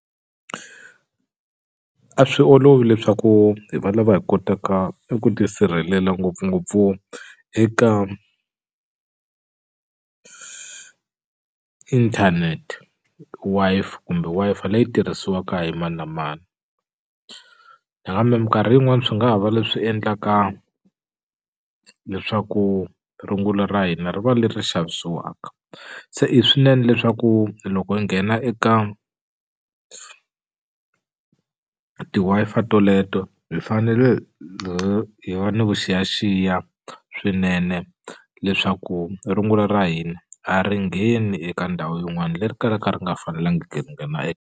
A swi olovi leswaku hi va lava hi kotaka eku tisirhelela ngopfungopfu eka inthanete Wi-Fi kumbe Wi-Fi leyi tirhisiwaka hi mani na mani nakambe minkarhi yin'wani swi nga ha va leswi endlaka leswaku rungula ra hina ri va leri xavisiwaka se i swinene leswaku loko i nghena eka ti Wi-Fi toleto hi fanele hi va ni vuxiyaxiya swinene leswaku rungula ra hina a ri ngheni eka ndhawu yin'wani leri kalaka ri nga fanelangi ku nghena .